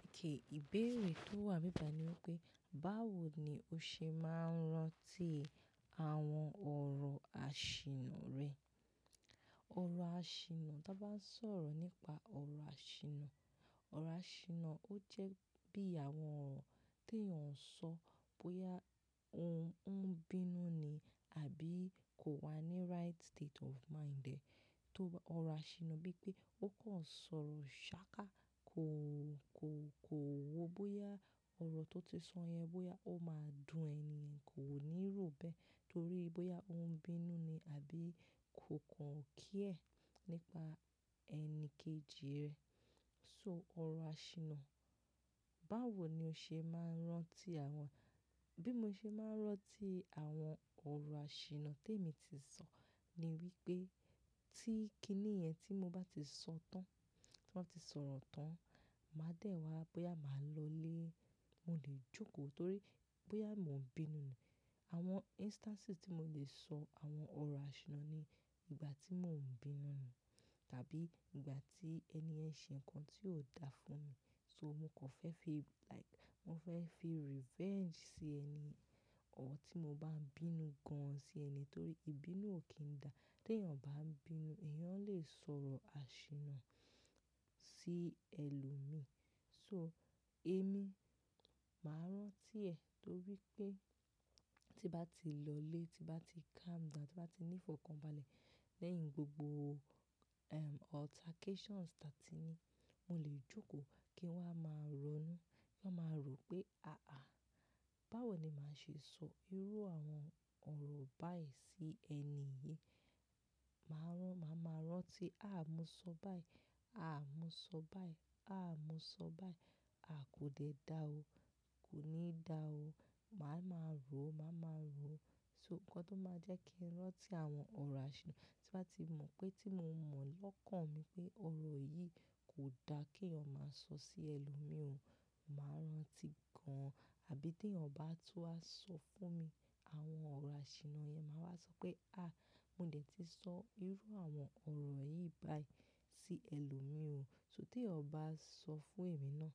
Okay ìbéèrè tó wà nibi bayi ni wípé, báwo ni o ṣe máa ń rántí àwọn ọ̀rọ̀ àṣìnnà rẹ? Ọ̀rọ̀ àṣìnnà, tí a bá ń sọ̀rọ̀ nípa ọ̀rọ̀ àṣìnnà, ọ̀rọ̀ àṣìnnà ó jẹ́ bí àwọn ọ̀rọ̀ tí èèyàn ń sọ bóyá òun ń bínú ni àbí kò wà ní right state of mind ẹ́. Tó ọ̀rọ̀ àṣìnnà bí i pé ó kàn ń sọ̀rọ̀ ṣáákà, kó, kó, kò wo bóyá ọ̀rọ̀ tó ti sọ yẹn bóyá ó máa dun ènìyen, kò ní rò ó bẹ́ẹ̀ torí bóyá òun ń bínú ni àbí kò kàn ọ́ care nípa ẹni kejì rẹ̀. So ọ̀rọ̀ àṣìnnà, báwo ni o ṣe máa ń rántí àwọn-- bí mo ṣe máa ń rántí àwọn ọ̀rọ̀ àṣìnnà tí èmi ti sọ ni wípé tí kíní yẹn tí mo bá ti sọ tán, tí mo bá ti sọ̀rọ̀ tán, màá dẹ̀ wá bóyá màá lọlé, mo lè jókòó torí bóyá mò ń bínú ni. Àwọn instances tí mo lè sọ àwọn ọ̀rọ̀ àṣìnnà ni ìgbà tí mò ń bínú ni, tàbí ìgbà tí ẹniyen ṣe nǹkan tí ò da fún mi. So mo kan fẹ́ fi like, mo fẹ́ fi revenge sí ẹni, ọ̀ tí mo bá ń bínú gan-an sí ẹni torí ìbínú ò kí n da. Tí èèyàn bá ń bínú, èèyàn lè sọ̀rọ̀ àṣìnnà sí ẹlòmíí. So èmi, màá rántí ẹ̀ torí pé tí bá ti lọ lé, tí bá ti calm down, tí bá ti ní ìfọ̀kànbalẹ̀ lẹ́yìn gbogbo, ehm, altercations tàti ní, mo lè jókòó kí wa máa ronú, kí wa máa rò pé àáà, báwo ni màá ṣe sọ irú àwọn ọ̀rọ̀ báyìí sí ẹni yìí? Màá rántí, màá ma rántí, àáà mo sọ báyìí, àáà mo sọ báyìí, àáà mo sọ báyìí, a kò dè dá o, kò ní dá o. Màá ma rò o, màá ma rò o. So nǹkan tó máa jẹ́ kí n rántí àwọn ọ̀rọ̀ àṣìnnà, tí màá ti mọ̀ pé tí mo mọ̀ lọ́kàn mi pé ọ̀rọ̀ yìí kò da kí èèyàn máa sọ sí ẹlòmíì o, màá rántí gan-an. Àbí tẹ̀yan ba tun wá sọ fún mi àwọn ọ̀rọ̀ àṣìnnà yẹn, màá wá sọ pé àáà mo dè tí sọ irú àwọn ọ̀rọ̀ yìí báyìí sí ẹlòmíì o. So t'eyan ba sọ fún èmi náà,